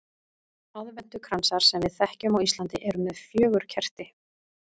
Aðventukransar sem við þekkjum á Íslandi eru með fjögur kerti.